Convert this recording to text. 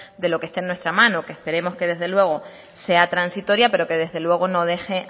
de lo que esté en nuestras manos que esperemos que desde luego sea transitoria pero que desde luego no deje